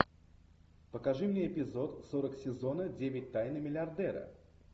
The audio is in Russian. покажи мне эпизод сорок сезона девять тайны миллиардера